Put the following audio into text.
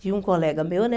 Tinha um colega meu, né?